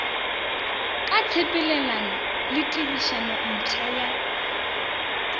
ka tshepelelano le tirišanompsha ya